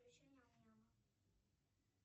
включи нам няма